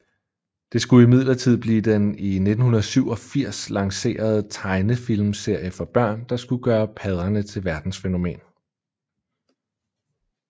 Det skulle imidlertid blive den i 1987 lancerede tegnefilmserie for børn der skulle gøre padderne til verdensfænomen